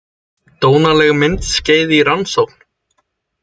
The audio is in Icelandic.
Dónaleg myndskeið í rannsókn